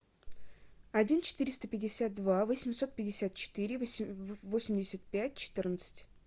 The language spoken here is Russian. один четыреста пятьдесят два восемьсот пятьдесят четыре восемьдесят пять четырнадцать